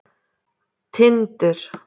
Tindur